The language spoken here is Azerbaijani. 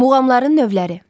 Muğamların növləri.